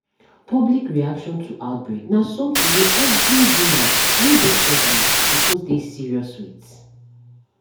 public reaction to outbreak na something wey every woman wey dey pregnant suppose dey serious with